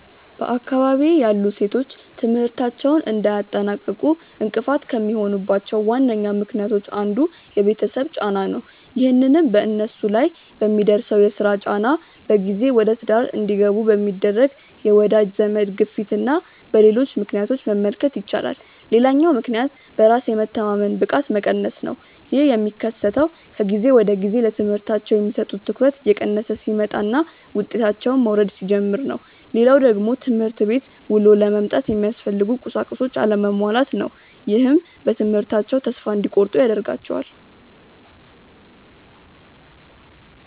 በአካባቢዬ ያሉ ሴቶች ትምህርታቸውን እንዳያጠናቅቁ እንቅፋት ከሚሆኑባቸው ዋነኛ ምክንያቶች አንዱ የቤተሰብ ጫና ነው። ይህንንም በነሱ ላይ በሚደርሰው የስራ ጫና፣ በጊዜ ወደትዳር እንዲገቡ በሚደረግ የወዳጅ ዘመድ ግፊትና በሌሎች ምክንያቶች መመልከት ይቻላል። ሌላኛው ምክንያት በራስ የመተማመን ብቃት መቀነስ ነው። ይህ የሚከሰተው ከጊዜ ወደጊዜ ለትምህርታቸው የሚሰጡት ትኩረት እየቀነሰ ሲመጣና ውጤታቸውም መውረድ ሲጀምር ነው። ሌላው ደግሞ ትምህርት ቤት ውሎ ለመምጣት የሚያስፈልጉ ቁሳቁሶች አለመሟላት ነው። ይህም በትምህርታቸው ተስፋ እንዲቆርጡ ያደርጋቸዋል።